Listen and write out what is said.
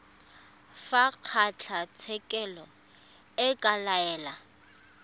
fa kgotlatshekelo e ka laela